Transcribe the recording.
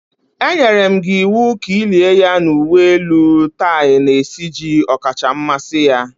Enyere m gị iwu ka i lie ya n’uwe elu tie na-esiji ọkacha mmasị ya